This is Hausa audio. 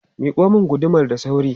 Miƙo mun gudumar da sauri!